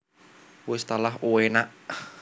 Wis talah uenaaakkk